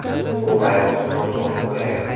U bayroqni noto‘g‘ri bo‘yagan.